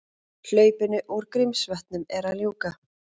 Hlaupinu úr Grímsvötnum er að ljúka